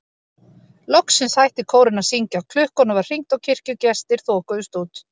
Loksins hætti kórinn að syngja, klukkunum var hringt og kirkjugestir þokuðust út.